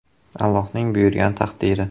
Allohning buyurgan taqdiri.